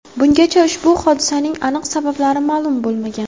Bungacha ushbu hodisaning aniq sabablari ma’lum bo‘lmagan.